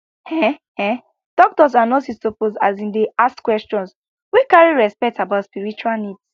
heh heh doctors and nurses suppose asin dey ask questions wey carry respect about spiritual needs